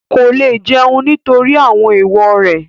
Kò lè jẹun nítorí àwọn ééwo rẹ̀